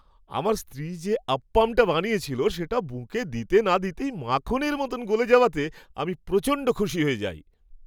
আমার স্ত্রী যে আপ্পামটা বানিয়েছিল সেটা মুখে দিতে না দিতেই মাখনের মতন গলে যাওয়াতে আমি প্রচণ্ড খুশি হয়ে যাই।